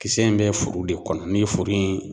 Kisɛ in bɛ furu de kɔnɔ n'i ye furu in